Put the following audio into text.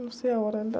Não sei a hora ainda.